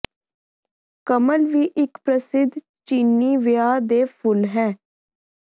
ਕਮਲ ਵੀ ਇਕ ਪ੍ਰਸਿੱਧ ਚੀਨੀ ਵਿਆਹ ਦੇ ਫੁੱਲ ਹੈ